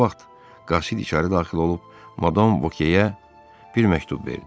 Bu vaxt qasid içəri daxil olub, Madam Vokyeyə bir məktub verdi.